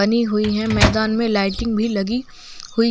बनी हुई है मैदान मे लाइटिग भी लगी हुई है।